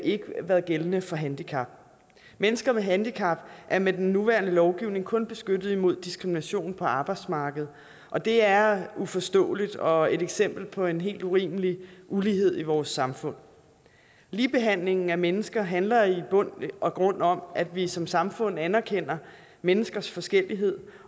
ikke været gældende for handicap mennesker med handicap er med den nuværende lovgivning kun beskyttet mod diskrimination på arbejdsmarkedet og det er uforståeligt og et eksempel på en helt urimelig ulighed i vores samfund ligebehandlingen af mennesker handler i bund og grund om at vi som samfund anerkender menneskers forskellighed